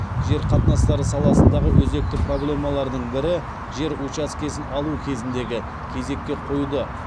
жер қатынастары саласындағы өзекті проблемалардың бірі жер учаскесін алу кезіндегі кезекке қоюды